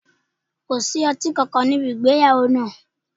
Ko sí ọti kankan nibi igbeyawo naa